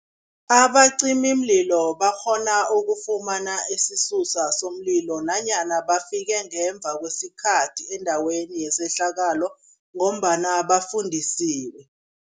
Abacimimlilo bakghona ukufumana isisusa somlilo nanyana bafike ngemva kwesikhathi endaweni yesehlakalo ngombana bafundisiwe.